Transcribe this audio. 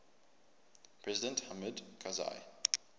president hamid karzai